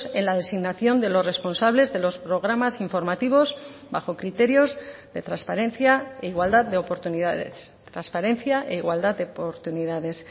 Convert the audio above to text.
en la designación de los responsables de los programas informativos bajo criterios de transparencia e igualdad de oportunidades transparencia e igualdad de oportunidades